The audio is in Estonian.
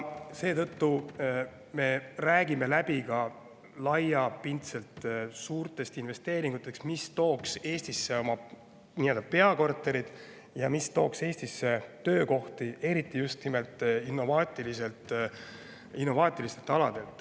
Seetõttu me räägime läbi ka laiapindsete, suurte investeeringute, mis tooks Eestisse peakorterid ja tooks Eestisse töökohti, eriti just innovaatilistel aladel.